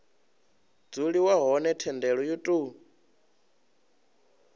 dzuliwa hone thendelo yo tou